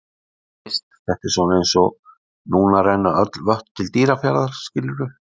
Þú veist, þetta er svona eins og núna renna öll vötn til Dýrafjarðar, skilurðu?